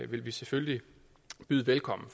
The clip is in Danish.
vil vi selvfølgelig byde velkommen